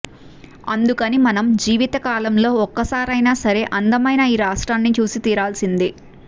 అందుకని మనం జీవిత కాలంలో ఒక్కసారైనా సరే అందమైన ఈ రాష్ట్రాన్ని చూసి తీరాల్సిందే